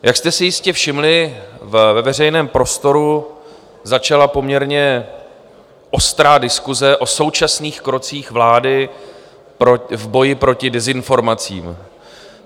Jak jste si jistě všimli, ve veřejném prostoru začala poměrně ostrá diskuse o současných krocích vlády v boji proti dezinformacím.